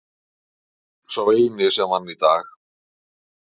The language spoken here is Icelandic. Sá eini sem vann í dag.